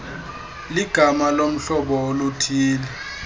ligama lohlobo oluthille